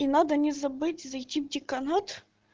и надо не забыть зайти в деканат